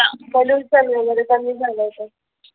pollution वैगेरे कमी झालं होत